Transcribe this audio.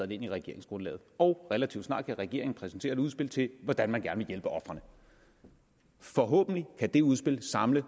det ind i regeringsgrundlaget og relativt snart kan regeringen præsentere et udspil til hvordan man gerne vil hjælpe ofrene forhåbentlig kan det udspil samle